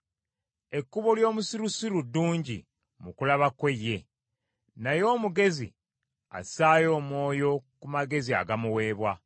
Ekkubo ly’omusirusiru ddungi mu kulaba kwe ye, naye omugezi assaayo omwoyo ku magezi agamuweebwa.